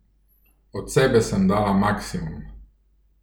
Od sebe sem dala maksimum.